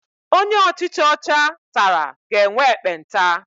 Onye ọchicha ọcha tara ga-enwe ekpenta.